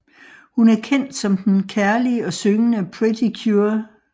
Hun er kendt som den kærlige og syngende Pretty Cure